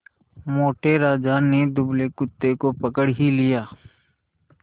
मोटे राजा ने दुबले कुत्ते को पकड़ ही लिया